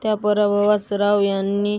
त्या पराभवास राव यांना